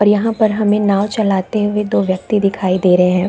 और यहाँ पर हमें नांव चलाते हुए दो व्यक्ति दिखाई दे रहे हैं ।